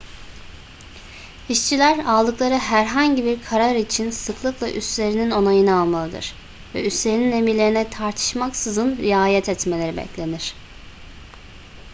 i̇şçiler aldıkları herhangi bir karar için sıklıkla üstlerinin onayını almalıdır ve üstlerinin emirlerine tartışmaksızın riayet etmeleri beklenir